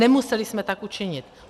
Nemuseli jsme tak učinit.